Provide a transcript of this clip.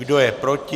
Kdo je proti?